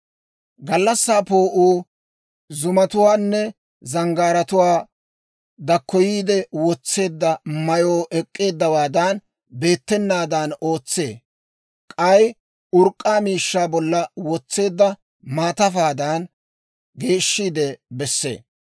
Gallassaa poo'uu zoozatuwaanne zanggaaratuwaa dakkoyiide wotseedda mayuu ek'k'eeddawaadan beettanaadan ootsee; k'ay urk'k'aa miishshaa bolla wotseedda maatafaadan geeshshiide bessee.